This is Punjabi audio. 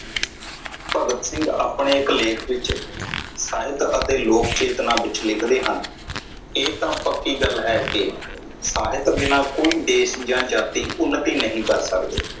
ਭਗਤ ਸਿੰਘ ਆਪਣੇ ਇਕ ਲੇਖ ਵਿਚ ਸਾਹਿਤ ਅਤੇ ਲੋਕ ਚੇਤਨਾ ਵਿਚ ਲਿਖਦੇ ਹਨ ਇਹ ਤਾਂ ਪੱਕੀ ਗੱਲ ਹੈ ਕਿ ਸਾਹਿਤ ਬਿਨਾਂ ਕੋਈ ਦੇਸ਼ ਜਾ ਜਾਤੀ ਉੱਨਤੀ ਨਹੀਂ ਕਰ ਸਕਦਾ।